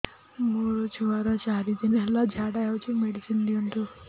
ମୋର ଛୁଆର ଚାରି ଦିନ ହେଲା ଝାଡା ହଉଚି ମେଡିସିନ ଦିଅନ୍ତୁ